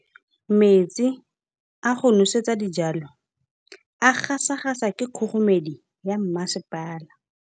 Metsi a go nosetsa dijalo a gasa gasa ke kgogomedi ya masepala.